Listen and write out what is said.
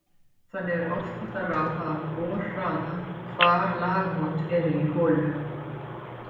Þannig er oft hægt að ráða af borhraða hvar lagamót eru í holu.